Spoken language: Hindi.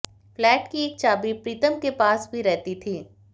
फ्लैट की एक चाबी प्रीतम के पास भी रहती थी